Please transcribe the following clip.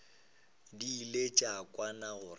di ile tša kwana gore